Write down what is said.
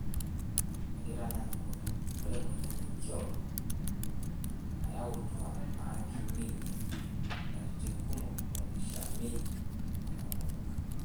Tenkitaanyanyukoto, ore emoyian enkiok yaatua naa keiminie katitin kumok olkishamiet tenkata dorrop.